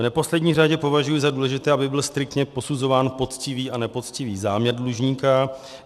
V neposlední řadě považuji za důležité, aby byl striktně posuzován poctivý a nepoctivý záměr dlužníka.